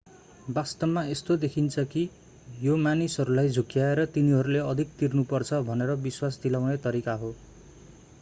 वास्तवमा यस्तो देखिन्छ कि यो मानिसहरूलाई झुक्याएर तिनीहरूले अधिक तिर्नुपर्छ भनेर विश्वास दिलाउने तरिका हो